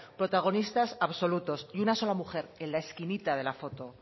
protagonistas absolutos y una sola mujer en la esquinita de la foto